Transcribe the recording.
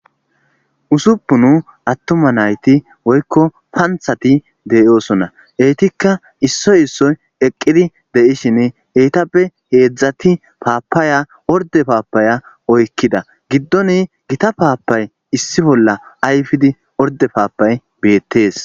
Usuppu nu attuma nayti woykko panthati deyoosona eytikka issoy issoy eqqidi de7ishin heytappe heedzdzati paapaya orde paapaya oykkida giddoni gita paapay issi bolla ayfidi orde paapay beettees.